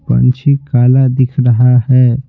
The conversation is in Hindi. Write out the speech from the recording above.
पंछी काला दिख रहा है।